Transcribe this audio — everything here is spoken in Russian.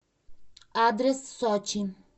адрес сочи